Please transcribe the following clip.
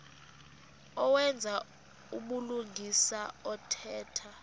owenza ubulungisa othetha